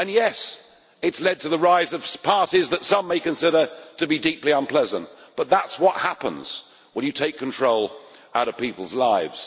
And yes, it has led to the rise of parties that some may consider to be deeply unpleasant, but that is what happens when you take control out of people's lives.